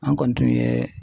An kɔni tun ye